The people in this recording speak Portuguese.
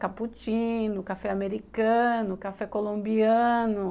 Caputino, café americano, café colombiano.